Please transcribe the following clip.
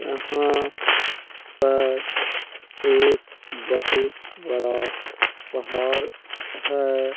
यहाँ पर एक बोहोत बड़ा पहाड़ है।